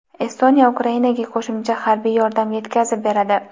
Estoniya Ukrainaga qo‘shimcha harbiy yordam yetkazib beradi.